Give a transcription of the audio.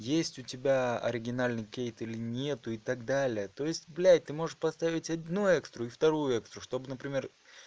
есть у тебя оригинальный кейт или нету и так далее то есть блять ты можешь поставить одну экстру и вторую экстру чтобы например